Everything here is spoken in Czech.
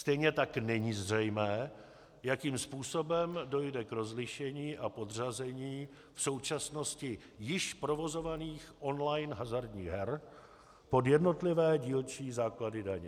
Stejně tak není zřejmé, jakým způsobem dojde k rozlišení a podřazení v současnosti již provozovaných online hazardních her pod jednotlivé dílčí základy daně.